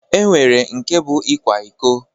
E nwere nke bụ ịkwa iko